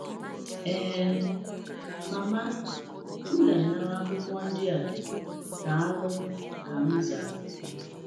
“Eeh, Mama, m ga-anara akwụkwọ ndị a, daalụ,” ka m zara.